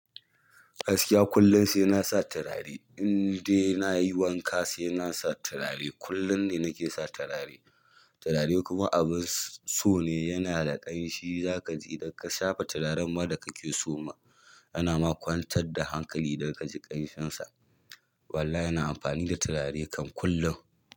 Gaskiya kullum sai na sa turare, indai na yi wanka sai na sa turare. Kullum ne na ke sa turare. Turare kuma abun so ne, yana da ƙanshi. Za ka ji idan ka shafa turaren ma da kake so ma, yana makwantar da hankali idan ka ji ƙanshinsa. Walla ina amfani da turare kan kullum.